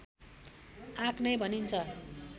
आँक नै भनिन्छ